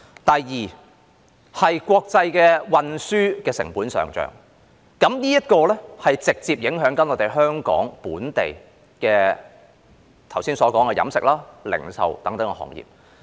第二，國際運輸成本上漲，這直接影響了我剛才所說的香港本地飲食業，以及零售等其他行業。